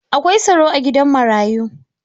Akwai tsaro a gidan marayu.